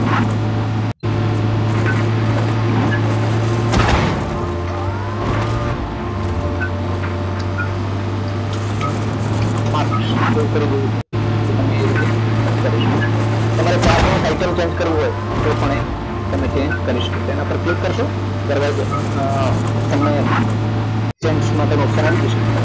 marks એવું કરી દેવું છે તો તમે એ રીતે કરી શકો છો તમારે chart નું ટાઇટલ change કરવું હોય તો પણ તમે એ change કરી શકો છો તેના પર ક્લિક કરશો ત્યારબાદ તમને એ changes માટેનું option આવી જશે